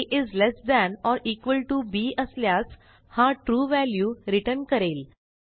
a less than or equal to b असल्यास हा true value return करेल